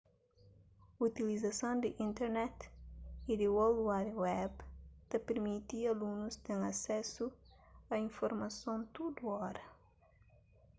utilizason di internet y di world wide web ta pirmiti alunus ten asesu a informason tudu óra